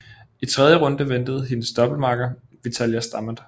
I tredje runde ventede hendes doublemakker Vitalia Stamat